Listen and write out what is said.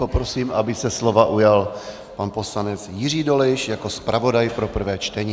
Poprosím, aby se slova ujal pan poslanec Jiří Dolejš jako zpravodaj pro prvé čtení.